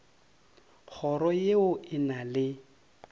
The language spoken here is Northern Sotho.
kgoro ye e na le